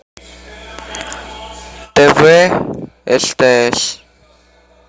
тв стс